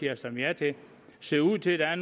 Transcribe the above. har stemt ja til ser ud til at